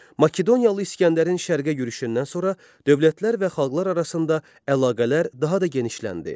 Makedoniyalı İskəndərin şərqə yürüşündən sonra dövlətlər və xalqlar arasında əlaqələr daha da genişləndi.